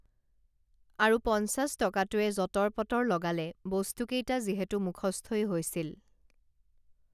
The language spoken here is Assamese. আৰু পঞ্চাশটকাটোৱে জটৰ পটৰ লগালে বস্তু কেইটা যিহেতু মুখস্থই হৈছিল